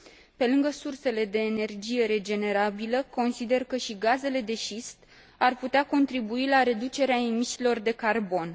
Pe lângă sursele de energie regenerabilă, consider că și gazele de șist ar putea contribui la reducerea emisiilor de carbon.